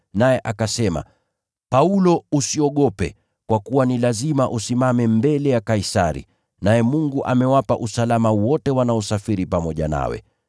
naye akasema, ‘Paulo usiogope, kwa kuwa ni lazima usimame mbele ya Kaisari, naye Mungu amekupa kwa neema uhai wa wote wanaosafiri pamoja nawe.